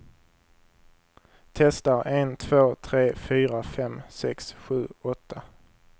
Testar en två tre fyra fem sex sju åtta.